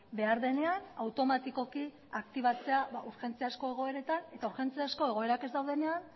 behar denean automatikoki aktibatzea urgentziazko egoeretan eta urgentziazko egoerak ez daudenean